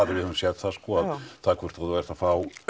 við höfum séð það sko að það hvort þú ert að fá